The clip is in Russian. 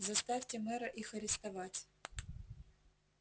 заставьте мэра их арестовать